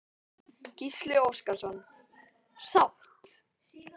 Gísli Óskarsson: Sátt?